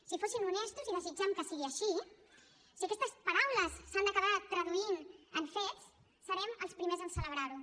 si fossin honestos i desitgem que sigui així si aquestes paraules s’han d’acabar traduint en fets serem els primers en celebrar ho